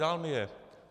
Dal mi je.